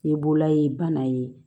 Ni bolola ye bana ye